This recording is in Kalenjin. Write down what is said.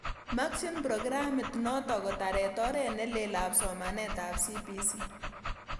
Makchin programit nootok kotaret oret nelel ap somanet ap CBC.